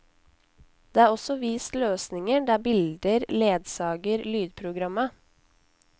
Det er også vist løsninger der bilder ledsager lydprogrammet.